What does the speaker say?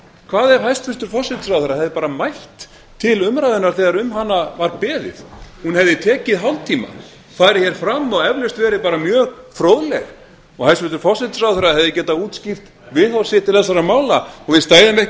hvað ef hæstvirtur forsætisráðherra hefði bara mætt til umræðunnar þegar um hana var beðið hún hefði tekið hálftíma farið hér fram og eflaust verið bara mjög fróðleg og hæstvirtur forsætisráðherra hefði getað útskýrt viðhorf sitt til þessara mála og við stæðum ekki